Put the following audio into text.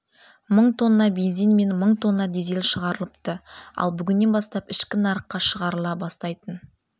мың тонна бензин мен мың тонна дизель шығарылыпты ал бүгіннен бастап ішкі нарыққа шығарыла бастайтын